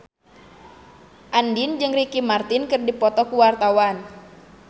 Andien jeung Ricky Martin keur dipoto ku wartawan